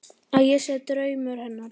Að ég sé draumur hennar.